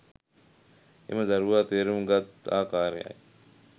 එම දරුවා තේරුම් ගත් ආකාරයයි.